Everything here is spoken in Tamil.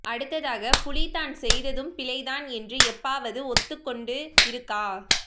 அடுத்ததாக புலி தான் செய்ததும் பிழை தான் என்று எப்பவாவது ஒத்துக் கொண்டு இருக்கா